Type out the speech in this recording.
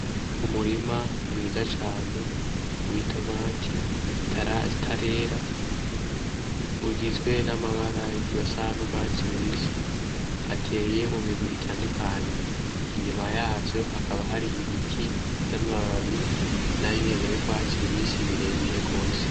Umurima mwiza cane w'itomati zitarera, ugizwe n'amabara asa n'urwatsi rubisi ateye mu migwi itandukanye. Inyuma yavyo hakaba hari ibiti vy'amababi nayo nyene y'urwatsi rubisi birebire gose.